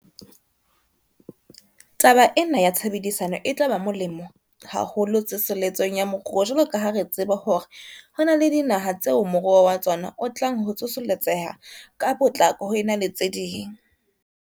Taba ena ya tshebedisano e tla ba molemo haholo tsoseletsong ya moruo jwalo ka ha re tseba hore ho na le dinaha tseo moruo wa tsona o tlang ho tsoseletseha ka potlako ho ena le tse ding.